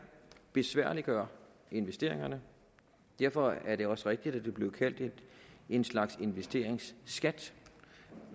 besværliggør investeringerne derfor er det også rigtigt at det bliver kaldt en slags investeringsskat